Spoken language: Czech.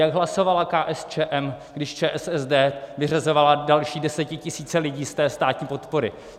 Jak hlasovala KSČM, když ČSSD vyřazovala další desetitisíce lidí z té státní podpory?